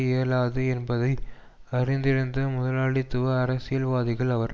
இயலாது என்பதை அறிந்திருந்த முதலாளித்துவ அரசியல்வாதிகள் அவர்